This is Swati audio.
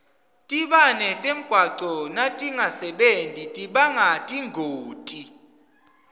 tibane temgwaco natingasebenti tibanga tingoti